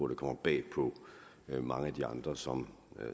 det kommer bag på mange af de andre som